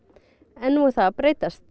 en nú er það að breytast